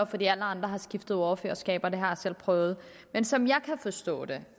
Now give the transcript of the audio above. fordi alle andre har skiftet ordførerskaber det har jeg selv prøvet men som jeg kan forstå det